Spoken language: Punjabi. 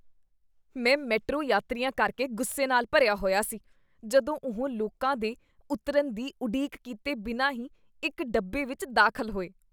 ਮੈਂ ਮੈਟਰੋ ਯਾਤਰੀਆਂ ਕਰਕੇ ਗੁੱਸੇ ਨਾਲ ਭਰਿਆ ਹੋਇਆ ਸੀ ਜਦੋਂ ਉਹ ਲੋਕਾਂ ਦੇ ਉਤਰਨ ਦੀ ਉਡੀਕ ਕੀਤੇ ਬਿਨਾਂ ਹੀ ਇੱਕ ਡੱਬੇ ਵਿੱਚ ਦਾਖਲ ਹੋਏ।